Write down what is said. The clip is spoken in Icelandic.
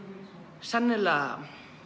sennilega